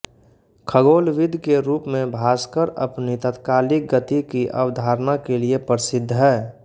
खगोलविद् के रूप में भास्कर अपनी तात्कालिक गति की अवधारणा के लिए प्रसिद्ध हैं